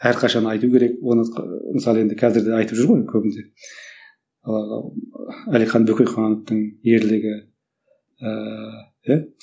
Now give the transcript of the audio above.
әрқашан айту керек оны мысалы енді қазір де айтып жүр ғой көбінде ыыы әлихан бөкейхановтың ерлігі ыыы иә